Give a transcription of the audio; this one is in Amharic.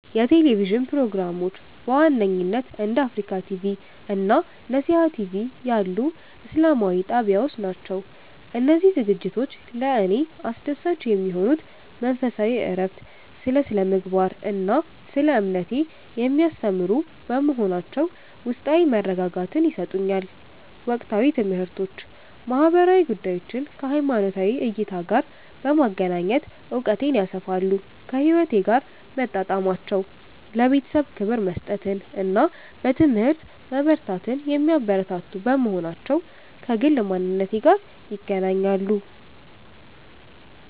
የቴሌቪዥን ፕሮግራሞች በዋነኝነት እንደ አፍሪካ ቲቪ (Africa TV) እና ነሲሃ ቲቪ (Nesiha TV) ያሉ ኢስላማዊ ጣቢያዎች ናቸው. እነዚህ ዝግጅቶች ለእኔ አስደሳች የሚሆኑት መንፈሳዊ እረፍት፦ ስለ ስነ-ምግባር እና ስለ እምነቴ የሚያስተምሩ በመሆናቸው ውስጣዊ መረጋጋትን ይሰጡኛል። ወቅታዊ ትምህርቶች፦ ማህበራዊ ጉዳዮችን ከሃይማኖታዊ እይታ ጋር በማገናኘት እውቀቴን ያሰፋሉ. ከህይወቴ ጋር መጣጣማቸው፦ ለቤተሰብ ክብር መስጠትን እና በትምህርት መበርታትን የሚያበረታቱ በመሆናቸው ከግል ማንነቴ ጋር ይገናኛሉ.